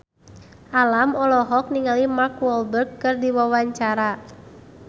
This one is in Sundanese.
Alam olohok ningali Mark Walberg keur diwawancara